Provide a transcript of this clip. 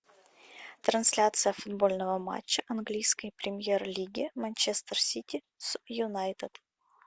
трансляция футбольного матча английской премьер лиги манчестер сити с юнайтед